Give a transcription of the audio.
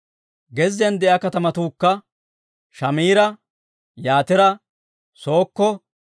Gezziyaan de'iyaa katamatuukka Shamiira, Yatira, Sookko,